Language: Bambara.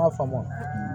M'a faamu